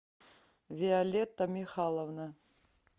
виолетта михайловна